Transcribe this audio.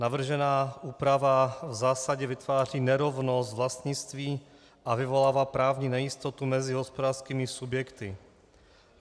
Navržená úprava v zásadě vytváří nerovnost vlastnictví a vyvolává právní nejistotu mezi hospodářskými subjekty.